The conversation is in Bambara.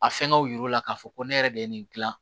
A fɛngɛw yir'u la k'a fɔ ko ne yɛrɛ de ye nin dilan